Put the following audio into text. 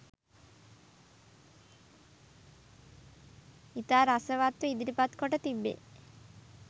ඉතා රසවත්ව ඉදිරිපත් කොට තිබේ.